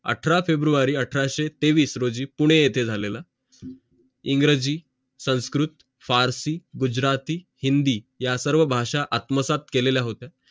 अठरा फेब्रुवारी अठराशे तेवीस रोजी पुणे येते झालेलं आहे इंग्रजी संस्कृत पारशी गुजराती हिंदी या सर्व भाषा आत्म साथ केलेल्या होत्या